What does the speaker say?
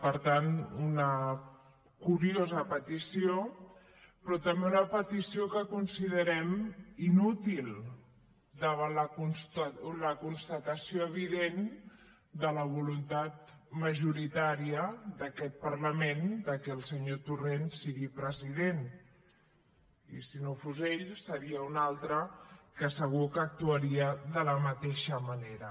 per tant una curiosa petició però també una petició que considerem inútil davant la constatació evident de la voluntat majoritària d’aquest parlament que el senyor torrent sigui president i si no ho fos ell seria un altre que segur que actuaria de la mateixa manera